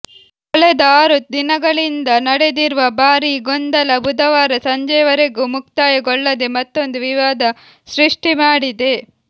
ಕಳೆದ ಆರು ದಿನಗಳಿಂದ ನಡೆದಿರುವ ಭಾರಿ ಗೊಂದಲ ಬುಧವಾರ ಸಂಜೆವರೆಗೂ ಮುಕ್ತಾಯಗೊಳ್ಳದೆ ಮತ್ತೊಂದು ವಿವಾದ ಸೃಷ್ಟಿಮಾಡಿದೆ